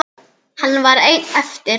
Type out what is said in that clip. Hann var einn eftir.